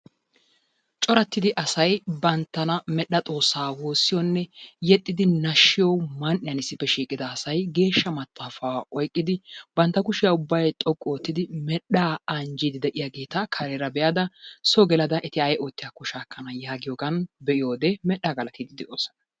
Coratidi asay banttana medhdha Xoossaa woossiyonne yexxidi nashshiyo man"iyan issippe shiiqqida asay geeshshaa maxaafaa oyqqidi bantta kushshiya ubbay xoqqu oottidi medhdhaa anjjiidi de'iyageeta kareera be'ada so gelada eti ay ootiyakko shaakkana yaagiyogan be'iyode medhdha galatiidi de'oosona.